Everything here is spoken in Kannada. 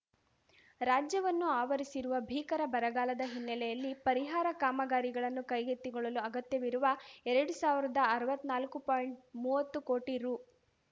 ರಾಜ್ಯವನ್ನು ಆವರಿಸಿರುವ ಭೀಕರ ಬರಗಾಲದ ಹಿನ್ನೆಲೆಯಲ್ಲಿ ಪರಿಹಾರ ಕಾಮಗಾರಿಗಳನ್ನು ಕೈಗೆತ್ತಿಕೊಳ್ಳಲು ಅಗತ್ಯವಿರುವ ಎರಡು ಸಾವಿರ್ದಾಅರ್ವತ್ನಾಲ್ಕು ಪಾಯಿಂಟ್ಮುವತ್ತು ಕೋಟಿ ರೂ